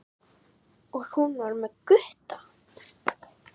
Og hún var með Gutta!